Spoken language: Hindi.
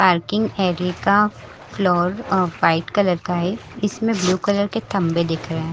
पार्किंग एरिये का फ्लोर वाइट कलर का है इसमें ब्लू कलर के थंबे दिख रहे है।